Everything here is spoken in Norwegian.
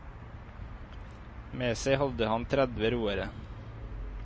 Med seg hadde han tredve roere.